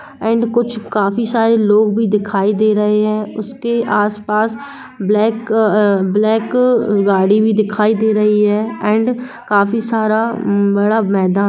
and कुछ काफी सारे लोग भी दे रहे हैं उसके आस-पास ब्लैक अ-अ ब्लैक गाड़ी भी दिखाई दे रही हैं एण्ड काफी सारा बड़ा मैदान--